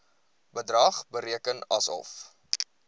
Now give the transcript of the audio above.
bedrag bereken asof